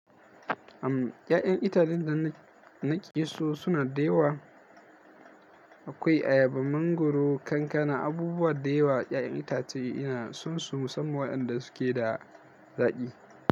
Uhm, ya'yan itacen da na, na ke so suna dawa. Akwai ayaba, mangwaro, kankana, abubuwa da yawa. Ya'yan itace ina son su musamman waɗanda suke da zaƙi.